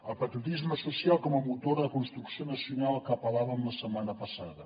el patriotisme social com a motor de construcció nacional a què apel·làvem la setmana passada